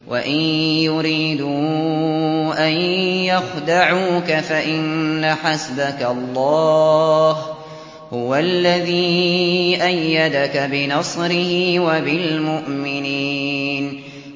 وَإِن يُرِيدُوا أَن يَخْدَعُوكَ فَإِنَّ حَسْبَكَ اللَّهُ ۚ هُوَ الَّذِي أَيَّدَكَ بِنَصْرِهِ وَبِالْمُؤْمِنِينَ